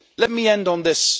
Let me end on this.